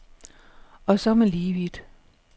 Og så er man lige vidt.